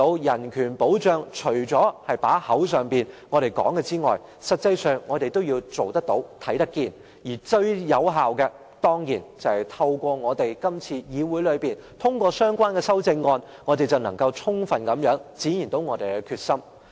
人權保障除了在嘴巴上說之外，實際上我們亦要做得到，看得見，而最有效的方法，當然是透過議會通過相關修正案，這樣，我們便能充分展現我們的決心。